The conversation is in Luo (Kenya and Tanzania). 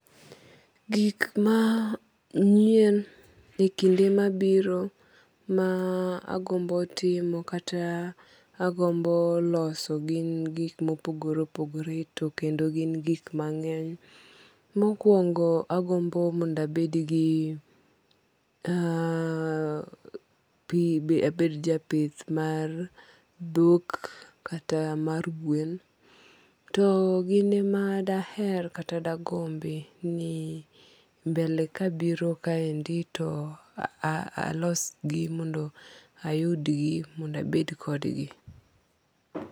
Gik ma nyien e kinde ma biro ma agombo timo kata ma agombo loso gin gik ma opogore opogore to kendo gin gik mang'eny. Mokuongo agombo ni abed gi ka gi abed ja pith mar dhok kata mar gwen to gine ma da aher kata de agombi ni mbele ka biro kae to alos gi mondo ayud gi mondo abed kod gi.